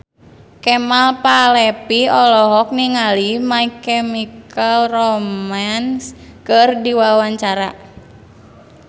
Kemal Palevi olohok ningali My Chemical Romance keur diwawancara